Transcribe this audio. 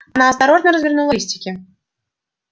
она осторожно развернула листики